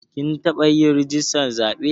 Kin taɓa yin rijistar zaɓe